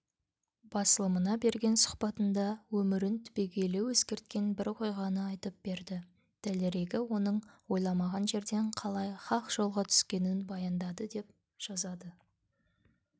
басылымына берген сұхбатында өмірін түбегейлі өзгерткен бір оқиғаны айтып берді дәлірегі өзінің ойламаған жерден қалай хақ жолға түскенін баяндады деп жазады